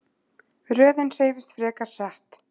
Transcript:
Röðin hreyfist frekar hratt.